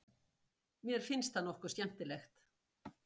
Mér finnst það nokkuð skemmtilegt.